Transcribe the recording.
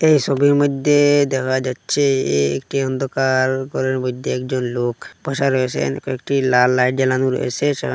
এই সবির মইদ্যে দেখা যাচ্ছে এ একটি অন্ধকার ঘরের মইদ্যে একজন লোক বসা রয়েছেন কয়েকটি লাল লাইট জ্বালানো রয়েছে সেখানে --